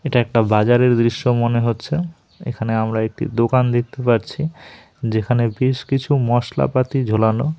এটা একটা বাজারের দৃশ্য মনে হচ্ছে এখানে আমরা একটি দোকান দেখতে পারছি যেখানে বেশ কিছু মশলাপাতি ঝোলানো।